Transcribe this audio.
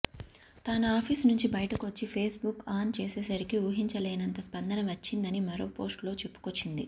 తాను ఆఫీసు నుంచి బయటకొచ్చి ఫేస్ బుక్ ఆన్ చేసేసరికి ఊహించలేనంత స్పందన వచ్చిందని మరో పోస్టులో చెప్పుకొచ్చింది